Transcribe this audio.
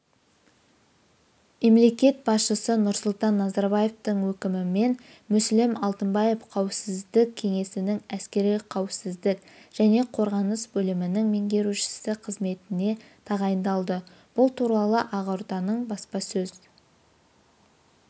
мемлекет басшысы нұрсұлтан назарбаевтың өкімімен мүслім алтынбаев қауіпсіздік кеңесінің әскери қауіпсіздік және қорғаныс бөлімінің меңгерушісі қызметіне тағайындалды бұл туралы ақорданың баспасөз